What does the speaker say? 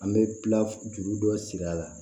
An bɛ tila juru dɔ siri a la